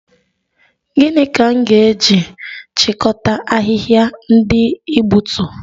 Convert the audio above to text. Gịnị ka m ga-eji chịkọta ahịhịa ndị ị gbutu?